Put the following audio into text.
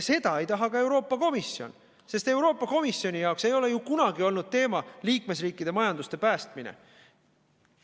Seda ei taha ka Euroopa Komisjon, sest Euroopa Komisjoni jaoks ei ole ju kunagi olnud teema liikmesriikide majanduse päästmine.